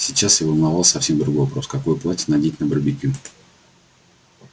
сейчас её волновал совсем другой вопрос какое платье надеть на барбекю